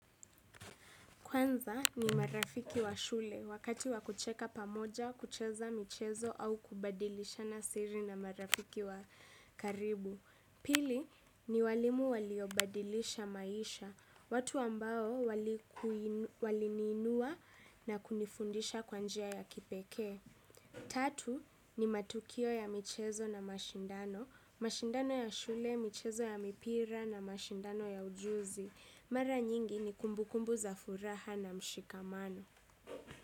Kwanza ni marafiki wa shule, wakati wakucheka pamoja, kucheza michezo au kubadilishana siri na marafiki wa karibu. Pili ni walimu waliobadilisha maisha, watu ambao waliniinua na kunifundisha kwanjia ya kipeke. Tatu ni matukio ya michezo na mashindano, mashindano ya shule, michezo ya mipira na mashindano ya ujuzi. Mara nyingi ni kumbukumbu za furaha na mshikamano.